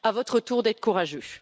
À votre tour d'être courageux!